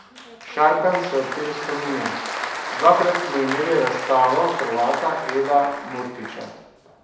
Šarkanj se ob tem spominja: "Dvakrat smo imeli razstavo Hrvata Eda Murtića.